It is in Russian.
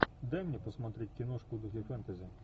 дай мне посмотреть киношку в духе фэнтези